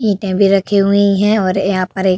ईटें भी रखी हुई हैं और यहाँ पर एक --